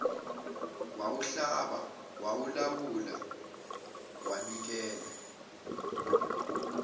wawuhlaba wawulawula wabikela